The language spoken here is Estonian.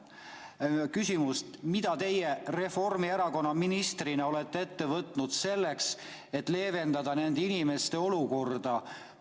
Küsimus: mida teie Reformierakonna ministrina olete ette võtnud selleks, et leevendada nende inimeste olukorda?